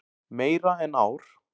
Meira en ár.